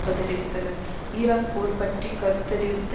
பதிலளித்தனர் Iraq போர் பற்றி கருத்துத்தரிவித்த